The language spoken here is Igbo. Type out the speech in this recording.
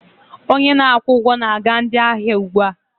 Onye na-akwụ ụgwọ na-aga ndị ahịa ugbu a.